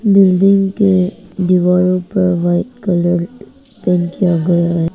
Building के दीवारों पर वाइट कलर पेंट किया गया है।